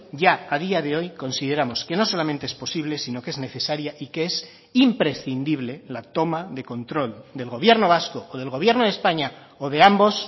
ya a día de hoy consideramos que no solamente es posible sino que es necesaria y que es imprescindible la toma de control del gobierno vasco o del gobierno de españa o de ambos